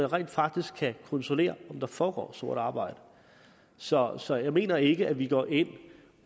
rent faktisk kan kontrollere om der foregår sort arbejde så så jeg mener ikke at vi går ind